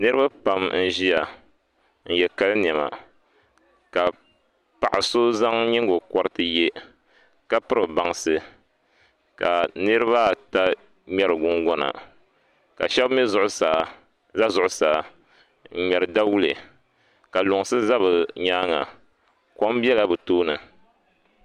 Niraba pam n ʒiya n yɛ kali niɛma ka paɣa so zaŋ nyingokoriti yɛ ka piri bansi ka niraba ata ŋmɛri gungona ka shab ʒɛ zuɣusaa n ŋmɛri dawulɛ ka lunsi ʒɛ bi nyaanga kom biɛla bi tooni